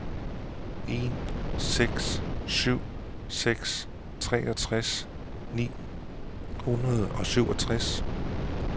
en seks syv seks treogtres ni hundrede og syvogtres